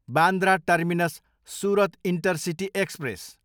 Bandra terminus, Surat intercity express